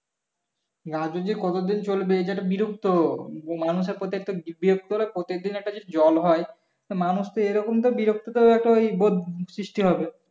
গাজোল যে কতদিন চলবে এটা একটা বিরক্ত মানুষের প্রত্যেকটা বিরক্ত হলে প্রতিদিন যদি জল হয় মানুষ তো এরকম তো বিরক্ত তো ওই বোধ সৃষ্টি হবে